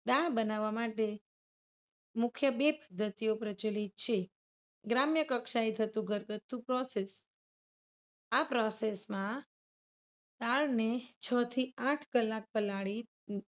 દાળ બનાવવા માટે મુખ્ય બે પદ્ધતિઓ પ્રચલિત છે. ગ્રામ્ય કક્ષાએ થતું ઘરગથ્થુ process આ process માં દાળને છ થી આઠ કલાક પલાળી